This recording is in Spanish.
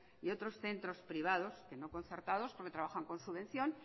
y otros centros privados que no concertados porque trabajan con subvención